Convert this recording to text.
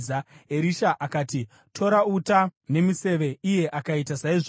Erisha akati, “Tora uta nemiseve,” iye akaita saizvozvo.